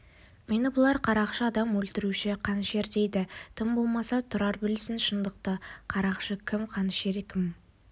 мені бұлар қарақшы адам өлтіруші қанішер дейді тым болмаса тұрар білсін шындықты қарақшы кім қанішер кім